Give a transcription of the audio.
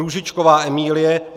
Růžičková Emílie